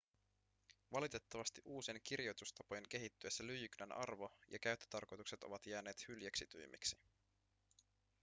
valitettavasti uusien kirjoitustapojen kehittyessä lyijykynän arvo ja käyttötarkoitukset ovat jääneet hyljeksitymmiksi